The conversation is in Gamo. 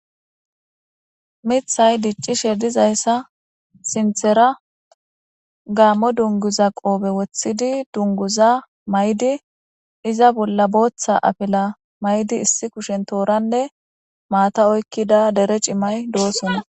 mithay diccishe dizayssa sinthera gaammo dunguza qoobe woththidi dunguza maydi iza bolla booththa afila maydi issi kushen tooranne maata oykkida dere cimay doosona